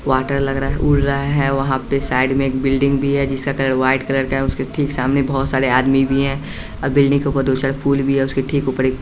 water लग रहा है उड़ रहा है वहाँ पे साइड में एक बिल्डिंग भी है जिसका कलर वाइट कलर का है उसके ठीक सामने बहुत सारे आदमी भी हैं और बिल्डिंग के ऊपर दो चार फूल भी है उसके ठीक ऊपर एक --